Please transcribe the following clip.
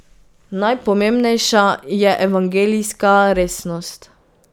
Najpomembnejša je evangeljska resnost.